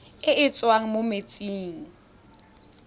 e e tswang mo metsing